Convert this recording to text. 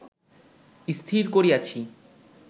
স্থির করিয়াছি